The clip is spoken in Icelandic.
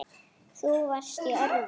Þú varst í öðru.